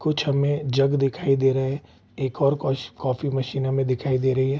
कुछ हमे जग दिखाई दे रहे है एक और कॉश कॉफ़ी मशीन हमे दिखाई दे रही है ।